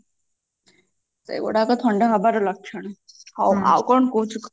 ସେଗୁଡାକ ଥଣ୍ଡା ହେବାର ଲକ୍ଷଣ ହଉ ଆଉ କଣ କହୁଛୁ କହ